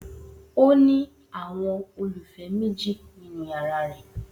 O ni awọn ololufẹ meji ninu yara rẹ